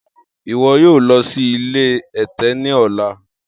Iwọ yoo lọ si ile ẹtẹ ni ọla!